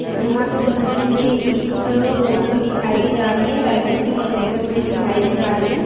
यहाॅं पे जैसे मुझे इस फोटो में दिखाई दी जा रही है रायपुर की हॉस्पिटल मुझे दिखाई दी जा रही है।